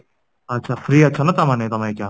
ଆଛା free ଅଛ ତାମାନେ ତମେ ଅଇକା?